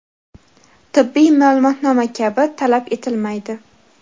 tibbiy ma’lumotnoma kabi) talab etilmaydi.